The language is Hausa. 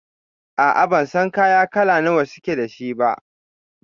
A'a, ban san kaya kala nawa suke da shi ba.